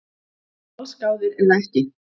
Allsgáðir eða ekki